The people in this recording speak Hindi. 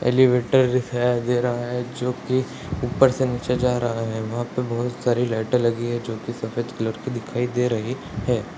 एलिवेटर दिखाई दे रहा है जो कि ऊपर से नीचे जा रहा है वहां पे बहुत सारी लाइटे लगी है जो कि सफेद कलर की दिखाई दे रही है।